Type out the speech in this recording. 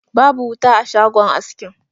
Babu wuta a shagon askin.